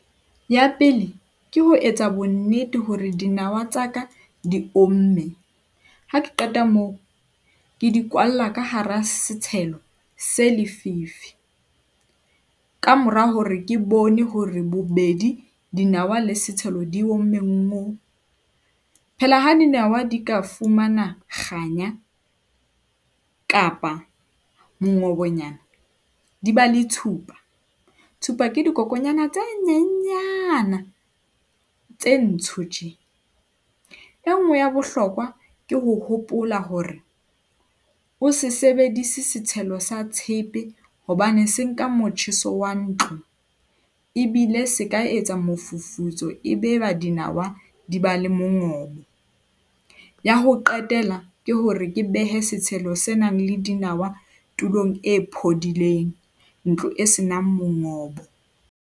Ya pele, ke ho etsa bonnete hore dinawa tsa ka di omme. Ha ke qeta moo, ke di kwalla ka hara setshelo se lefifi. Ka mora hore ke bone hore bobedi. dinawa le setshelo di omme ngo! Phela ha dinawa di ka fumana kganya kapa mongobonyana di ba le tshupa. Tshupa ke di kokonyana tse nyenyana tse ntsho tena. E nngwe ya bohlokwa, ke ho hopola hore o se sebedise setshelo sa tshepe hobane se nka motjheso wa ntlo ebile seka etsa mofufutso, ebe ba dinawa di ba le mongobo. Ya ho qetela, ke hore ke behe setshelo senang le dinawa tulong e phodileng ntlo e senang mongobo.